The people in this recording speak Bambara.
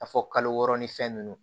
A fɔ kalo wɔɔrɔ ni fɛn nunnu